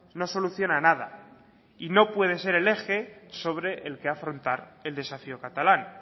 no soluciona nada y no puede ser el eje sobre el que afrontar el desafío catalán